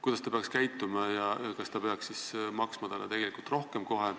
Kuidas ta peaks käituma ja kas ta peaks siis maksma talle kohe rohkem?